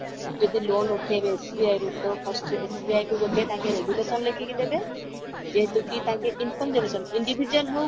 ଯଦି loan ଉଠେଇବେ SBI ରୁ ତ first SBI କୁ ଗୋଟେ ତାଙ୍କେ resolution ଲେଖିକି ଦେବେ ଯେହେତୁ କି ତାଙ୍କେ income individual ହଉ